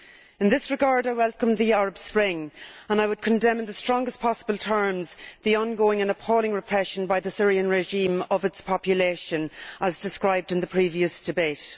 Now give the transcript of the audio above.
In this regard, I welcome the Arab Spring, and I would condemn in the strongest possible terms the ongoing and appalling repression by the Syrian regime of its population, as described in the previous debate.